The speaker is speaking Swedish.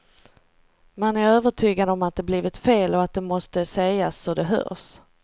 Man är övertygad om att det blivit fel och att det måste sägas så det hörs.